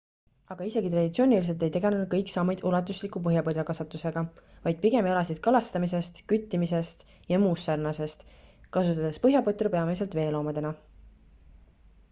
aga isegi traditsiooniliselt ei tegelnud kõik saamid ulatusliku põhjapõdrakasvatusega vaid pigem elasid kalastamisest küttimisest ja muust sarnasest kasutades põhjapõtru peamiselt veoloomadena